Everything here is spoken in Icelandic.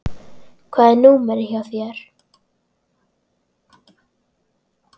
Hvað er númerið hjá þér?